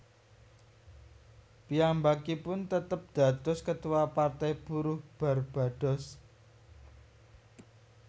Piyambakipun tetep dados Ketua Partai Buruh Barbados